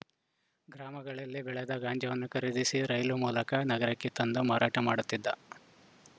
ಗ್ರಾಮಗಳಲ್ಲಿ ಬೆಳೆದ ಗಾಂಜಾವನ್ನು ಖರೀದಿಸಿ ರೈಲು ಮೂಲಕ ನಗರಕ್ಕೆ ತಂದು ಮಾರಾಟ ಮಾಡುತ್ತಿದ್ದ